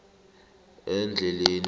endleleni